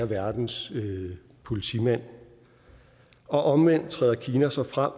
verdens politimand og omvendt træder kina så frem